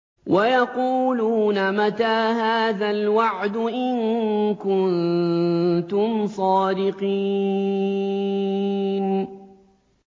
وَيَقُولُونَ مَتَىٰ هَٰذَا الْوَعْدُ إِن كُنتُمْ صَادِقِينَ